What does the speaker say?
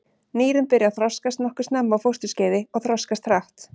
Nýrun byrja að þroskast nokkuð snemma á fósturskeiði og þroskast hratt.